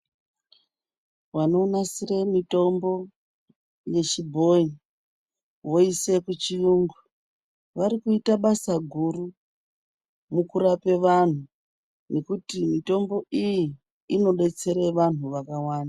Vanonasire mitombo yechibhoyi voise kuchiyungu vari kuite basa guru rekurapa vanthu nekuti mitombo iyi inodetsera vanthu vakawanda.